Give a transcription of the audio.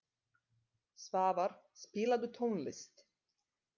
Svavar, spilaðu tónlist.